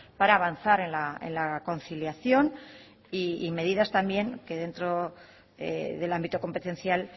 para avanzar en la conciliación y medidas también que dentro del ámbito competencial